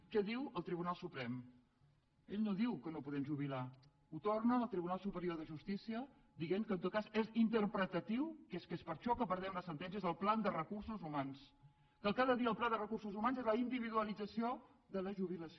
què diu el tribunal suprem ell no diu que no podem jubilar ho torna al tribunal superior de justícia dient que en tot cas és interpretatiu que és per això que perdem les sentències el pla de recursos humans que cada dia el pla de recursos humans és la individualització de la jubilació